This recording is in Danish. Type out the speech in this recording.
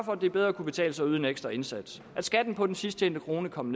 for det bedre kunne betale sig at yde en ekstra indsats at skatten på den sidst tjente krone kom